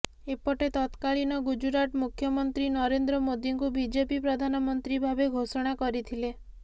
ଏପେଟ ତତ୍କାଳୀନ ଗୁଜରାଟ ମୁଖ୍ୟମନ୍ତ୍ରୀ ନରେନ୍ଦ୍ର ମୋଦୀଙ୍କୁ ବିଜେପି ପ୍ରଧାନମନ୍ତ୍ରୀ ଭାବେ ଘୋଷଣା କରିଥିଲା